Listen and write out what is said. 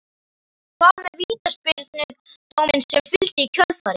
Hvað með vítaspyrnudóminn sem fylgdi í kjölfarið?